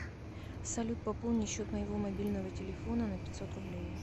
салют пополни счет моего мобильного телефона на пятьсот рублей